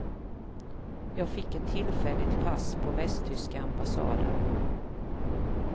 Jag fick ett tillfälligt pass på västtyska ambassaden.